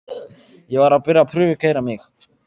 Ég var að byrja að prufukeyra mig.